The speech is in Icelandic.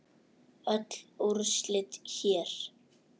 Öll úrslit hér